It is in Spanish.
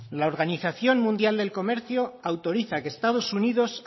la organización mundial del comercio autoriza a que estados unidos